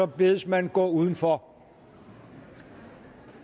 bedes man gå uden for